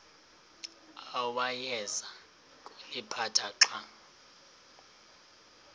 awayeza kuliphatha xa